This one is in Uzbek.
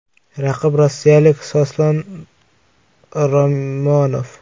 Raqib rossiyalik Soslan Ramonov.